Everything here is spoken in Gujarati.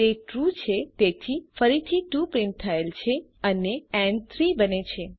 તે ટ્રૂ છે તેથી ફરીથી 2 પ્રિન્ટ થયેલ છે અને ન 3 બને છે